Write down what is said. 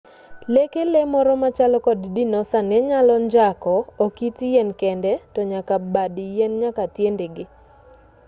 leke lee moro machalo kod dinosa nenyalo njako ok it yien kende tonyaka bad yien nyaka tiendege